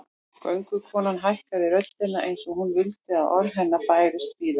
Göngukonan hækkaði röddina eins og hún vildi að orð hennar bærust víða